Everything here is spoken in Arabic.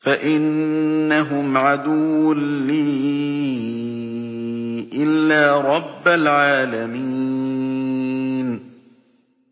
فَإِنَّهُمْ عَدُوٌّ لِّي إِلَّا رَبَّ الْعَالَمِينَ